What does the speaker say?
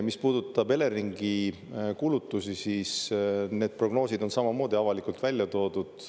Mis puudutab Eleringi kulutusi, siis need prognoosid on samamoodi avalikult välja toodud.